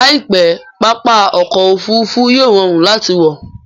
Laipe, pápá ọkọ̀ Òfurufú yíò rọrùn láti wọ